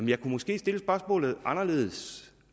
jeg kunne måske stille spørgsmålet anderledes